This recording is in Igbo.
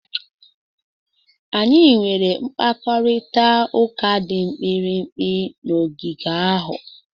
Anyị nwere mkparịta ụka dị mkpirikpi n'ogige ahụ.